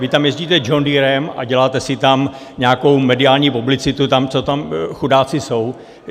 Vy tam jezdíte džondýrem a děláte si tam nějakou mediální publicitu, tam, co tam chudáci jsou.